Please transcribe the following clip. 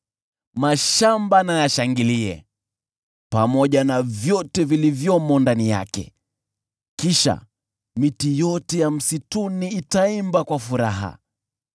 mashamba na yashangilie, pamoja na vyote vilivyomo ndani yake. Kisha miti yote ya msituni itaimba kwa furaha;